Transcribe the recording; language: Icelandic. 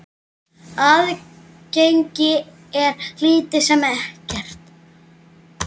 Aðgengi er lítið sem ekkert.